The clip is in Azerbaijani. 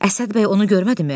Əsəd bəy onu görmədimi?